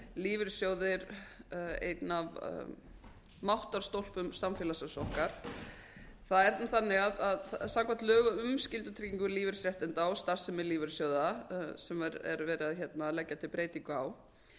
lífeyrissjóðir einn af máttarstólpum samfélagsins okkar það er þannig að samkvæmt lögum um skyldutryggingu lífeyrisréttinda og starfsemi lífeyrissjóða sem er verið að leggja til breytingu á